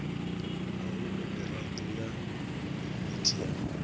nahone mirado ya yuniti ya